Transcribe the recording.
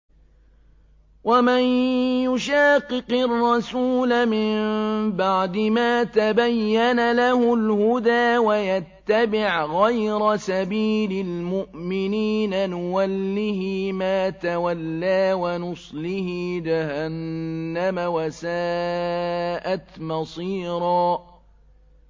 وَمَن يُشَاقِقِ الرَّسُولَ مِن بَعْدِ مَا تَبَيَّنَ لَهُ الْهُدَىٰ وَيَتَّبِعْ غَيْرَ سَبِيلِ الْمُؤْمِنِينَ نُوَلِّهِ مَا تَوَلَّىٰ وَنُصْلِهِ جَهَنَّمَ ۖ وَسَاءَتْ مَصِيرًا